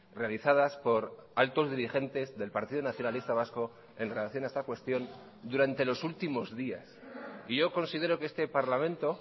realizadas por altos dirigentes del partido nacionalista vasco en relación a esta cuestión durante los últimos días y yo considero que este parlamento